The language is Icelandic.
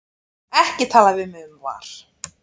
Ekki tala við mig um VAR.